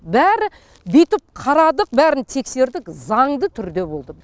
бәрі бүйтіп қарадық бәрін тексердік заңды түрде болды